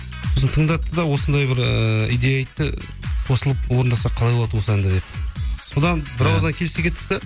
сосын тыңдатты да осындай бір ыыы идея айтты қосылып орындасақ қалай болады осы әнді деп содан келісе кеттік те